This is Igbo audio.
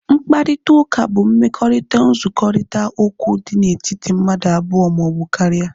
Mkparịta ụka bụ mmekọrita nzukọrita okwu dị na etiti mmadụ abụọ maọbụ karịa